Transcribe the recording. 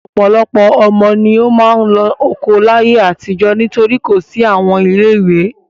Ọ̀pọ̀lọpọ̀ ọmọ ni ó máa ń lọ oko láyé àtijọ́ nítorí kò sí àwọn ilé-ìwé.